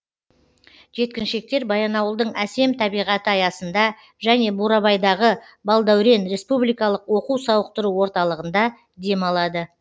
жеткіншектер баянауылдың әсем табиғаты аясында және бурабайдағы балдәурен республикалық оқу сауықтыру орталығында демалады